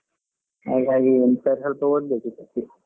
ಹಾಗಾಗಿ ಒಂದ್ ಸ್ವಲ್ಪ ಒದ್ಬೇಕು ಈ ಸರ್ತಿ.